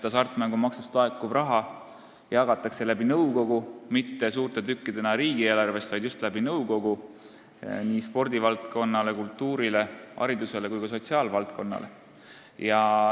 Hasartmängumaksust laekuv raha jagatakse mitte suurte tükkidena riigieelarvest, vaid just nõukogu kaudu nii spordivaldkonnale, kultuurile, haridusele kui ka sotsiaalvaldkonnale.